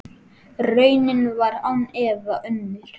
Raunin var án efa önnur.